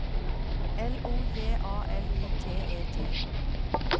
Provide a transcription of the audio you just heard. L O J A L I T E T